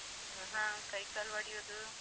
ಹ್ಮ್ ಹ. ಕೈ ಕಾಲ್ ಬಡಿಯುದು.